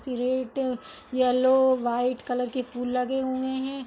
Yellow white colour के फूल लगे हुए हैं।